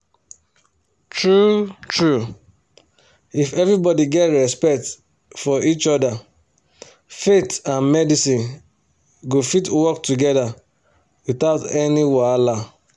true true if everybody get respect for each other faith and medicine go fit work together without any wahala.